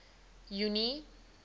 junie